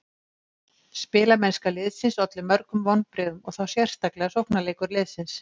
Spilamennska liðsins olli mörgum vonbrigðum og þá sérstaklega sóknarleikur liðsins.